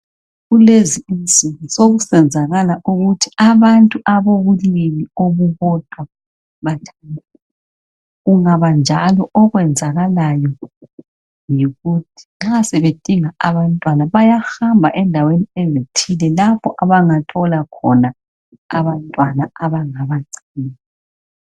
Kulezi insuku sekusenzakala ukuthi abantu abalobulili obubodwa bathandane. Kungaba njalo, okwenzakalayo yikuthi nxa sebedinga abantwana bayahamba endaweni ezithile lapho abangathola khona abantwana abangabagcina.